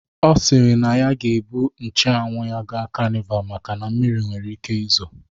Ọ siri na ọ ga-ebu nche anwụ ya gaa kanival maka na mmiri nwere ike izo